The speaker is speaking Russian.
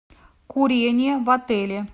курение в отеле